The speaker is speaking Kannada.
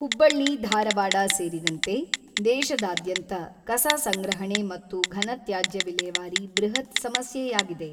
ಹುಬ್ಬಳ್ಳಿ ಧಾರವಾಡ ಸೇರಿದಂತೆ ದೇಶದಾದ್ಯಂತ ಕಸಸಂಗ್ರಹಣೆ ಮತ್ತು ಘನತ್ಯಾಜ್ಯ ವಿಲೇವಾರಿ ಬೃಹತ್ ಸಮಸ್ಯೆಯಾಗಿದೆ.